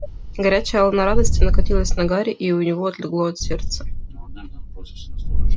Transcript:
горячая волна радости накатилась на гарри и у него отлегло от сердца